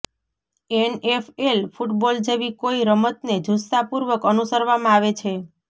NFL football જેવી કોઈ રમતને જુસ્સાપૂર્વક અનુસરવામાં આવે છે